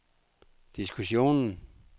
diskussionen